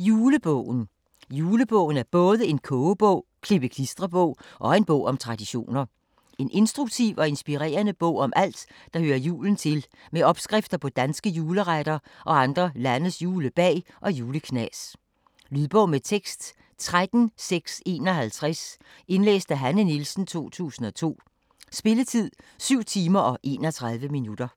Julebogen Julebogen er både en kogebog, klippe-klistre-bog og en bog om traditioner. En instruktiv og inspirerende bog om alt der hører julen til med opskrifter på danske juleretter og andre landes julebag og juleknas. Lydbog med tekst 13651 Indlæst af Hanne Nielsen, 2002. Spilletid: 7 timer, 31 minutter.